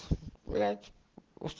блядь ус